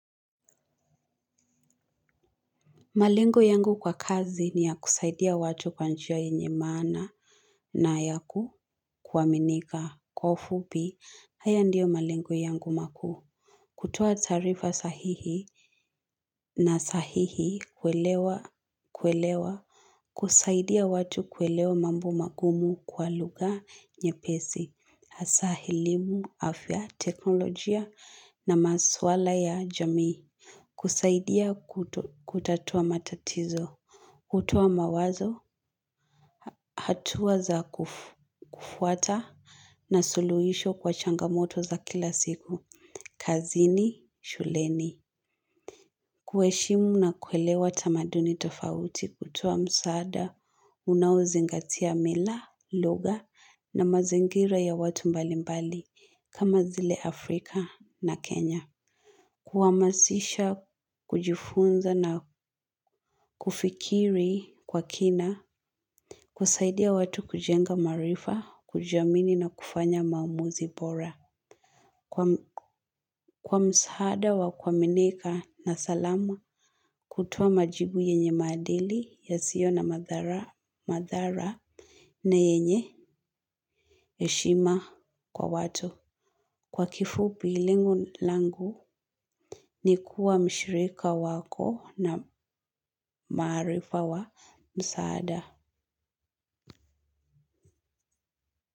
Malengo yangu kwa kazi ni kusaidia watu kwa njia yenye maana na ya kuaminika. Kwa ufupi, haya ndiyo malengo yangu makuu. Kutoa taarifa sahihi na kueleweka, kusaidia watu kuelewa mambo magumu kwa lugha nyepesi, hasa kuhusu afya, teknolojia na masuala ya jamii. Kusaidia kutatua matatizo, kutoa mawazo, hatua za kufuata na suluhisho kwa changamoto za kila siku, kazini shuleni. Kuheshimu na kuelewa tamaduni tofauti, kutoa msaada unaozingatia mila, lugha na mazingira ya watu mbalimbali, kama vile Afrika na Kenya. Kuhamasisha kujifunza na kufikiri kwa kina, kusaidia watu kujenga maarifa, kujiamini na kufanya maamuzi bora. Kwa msaada wa kuaminika na salama, kutoa majibu yenye maadili, yasiyo na madhara na yenye heshima kwa watu. Kwa kifupi, lengo langu ni kuwa mshirika wako wa maarifa wa msaada.